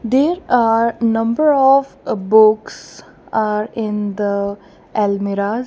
there are number of ah books are in the almirah.